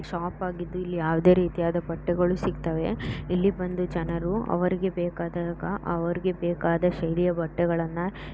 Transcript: Shop ಆಗಿದ್ದು ಇಲ್ಲಿ ಯಾವದೇ ರೀತಿಯದ ಬಟ್ಟೆಗಳು ಸಿಕ್ತವೆ. ಇಲ್ಲಿ ಬಂದು ಜನರು ಅವರಿಗೆ ಬೇಕಾದಾಗ ಅವರಿಗೆ ಬೇಕಾದ ಶೈಲಿಯ ಬಟ್ಟೆಗಳನ್ನ--